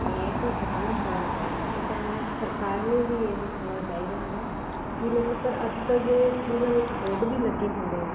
ਇਹ ਤਾਂ ਜਰੁਰ ਹੋਣਾ ਚਾਹੀਦਾ ਇਹ ਤਾਂ ਸਰਕਾਰ ਨੂੰ ਵੀ ਇਹ ਹੋਣਾ ਚਾਹੀਦਾ ਹੈ ਕੀ ਮਤਲਬ ਪਰ ਅੱਜਕਲ ਜਿਵੇਂ ਸਕੂਲਾਂ ਵਿੱਚ board ਵੀ ਲੱਗੇ ਹੁੰਦੇ ਆ